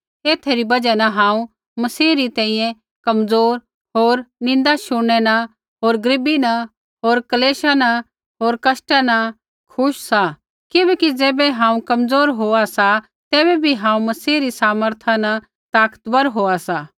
ऐथा री बजहा हांऊँ मसीहा री तेइयै कमज़ोर होर निन्दा शुणनै न होर गरीबी न होर क्लेश न होर कष्टा न खुश सा किबैकि ज़ैबै हांऊँ कमज़ोर होआ सा तैबै बी हांऊँ मसीह री सामर्था न ताकतवर होआ सा